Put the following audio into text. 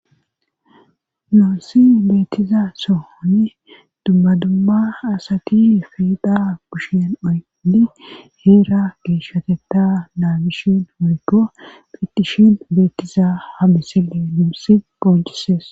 Nuunsi beettiza sohoni dummadumma asati fiida kushen oydi heera geeshateta naabishin oyko phitishin beettiza hamisile nuussi pooncisees